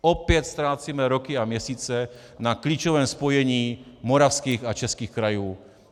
Opět ztrácíme roky a měsíce na klíčovém spojení moravských a českých krajů.